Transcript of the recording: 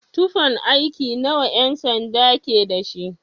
Tufan aiki nawa ƴan-sanda ke dashi?